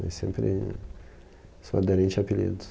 Mas sempre sou aderente a apelidos.